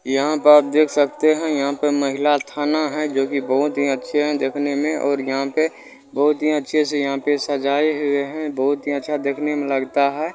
यहाँ पर आप देख सकते हैं यहाँ पे महिला थाना है जो की बहुत ही अच्छे है देखने में और यहाँ पे बहुत ही अच्छे से यहाँ पे सजाये हुए है बहुत ही अच्छा देखने में लगता है।